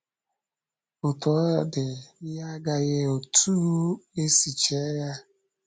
Otú ọ dị, ihe agaghị otú e si chee ya..